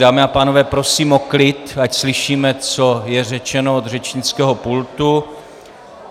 Dámy a pánové, prosím o klid, ať slyšíme, co je řečeno od řečnického pultu.